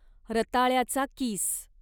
रताळ्याचा किस